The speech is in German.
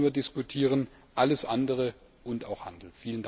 nicht immer nur diskutieren alles andere und auch Handel.